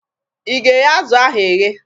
Ị ga-eghe azụ ahụ eghe?